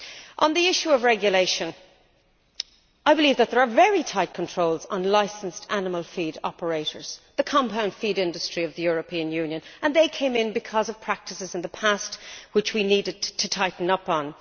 On the issue of regulation, I believe that there are very tight controls on licensed animal feed operators the compound feed industry of the European Union and they came in because of practices in the past which we needed to tighten up on.